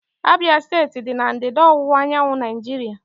Abia steeti dị na ndịda ọwụwa anyanwụ Naijiria.